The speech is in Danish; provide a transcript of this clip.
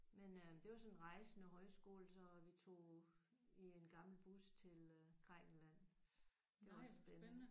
Men øh det var sådan en rejsende højskole så vi tog i en gammel bus til Grækenland. Det var spændende